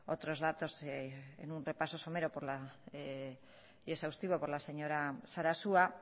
otros datos en un repaso somero y exhaustivo por la señora sarasua